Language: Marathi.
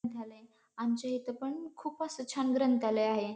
थालय आमच्या इथं पण खुप असं छान ग्रंथालय आहे.